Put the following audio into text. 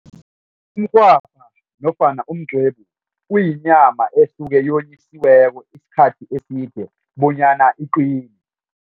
Umrhwabha nofana umqwebu kuyinyama esuke yonyisiweko isikhathi eside bonyana iqine.